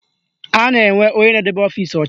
A na-enwe onye na-edebe ọfịsi ọcha